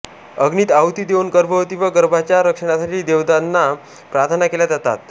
अग्नीत आहुती देऊन गर्भवती व गर्भाच्या रक्षणासाठी देवतांना प्रार्थना केल्या जातात